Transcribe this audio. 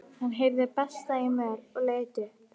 Hann heyrði bresta í möl og leit upp.